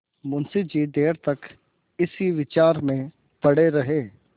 मुंशी जी देर तक इसी विचार में पड़े रहे